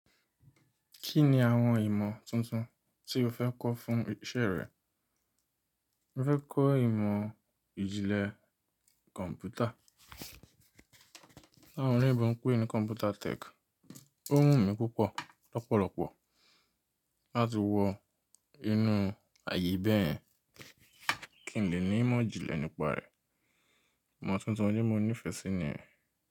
Kí ni àwọn ìmọ̀ tuntun tí o fẹ́ kọ́ fún iṣẹ́ rẹ? Mo fẹ́ kọ́ ìmọ̀ ìjìnlẹ̀ kọ̀m̀pútà. Ti awon oloyinbo ń pé ní Computer Tech. Ó wù mí púpọ̀ lọ́pọ̀lọpọ̀ láti wọ inú ààyè bẹ́ẹ̀. Kín le ni ìmọ̀ ìjìnlẹ̀ nípa rẹ̀. Ìmọ̀ tuntun ọlun ni mo nigee ẹ mó ní ìfẹ́ síni rẹ̀.